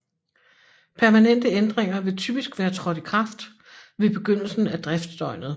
Permanente ændringer vil typisk være trådt i kraft ved begyndelsen af driftsdøgnet